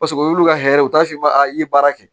Paseke o y'olu ka hɛrɛ ye u t'a fɔ i ye baara kɛ